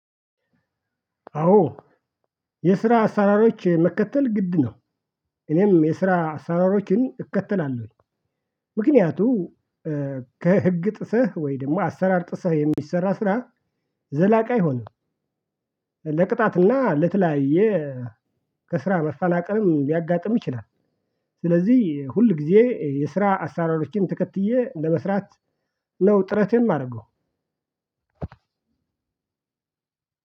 አዎ የስራ አሰራሮች መከተል ግድ ነው። እኔም የስራ አሰራሮችን እከተላለሁ። ምክንያቱም ከህግ ጥሰት ወይ ደግሞ አሰራር ጥሰህ የሚሰራ ስራ ዘላቂ አይሆንም። ለቅጣትና ለተለያየ ከስራ መፈናቀልም ሊያጋጥም ይችላል። ስለዚህ ሁል ጊዜ የስራ አሰራሮችን ተከትየ ለመስራት ነው ጥረት የማደርገው።